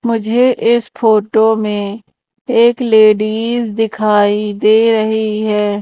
मुझे इस फोटो में एक लेडिज दिखाई दे रही है।